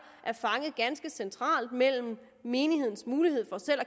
er fanget ganske centralt mellem menighedens mulighed for selv